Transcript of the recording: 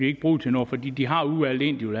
ikke bruge til noget fordi de har udvalgt en